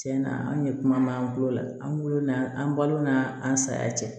Tiɲɛna an ye kuma b'an bolo an b'ulu na an balo na an saya cɛ